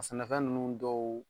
A sɛnɛfɛn ninnu dɔw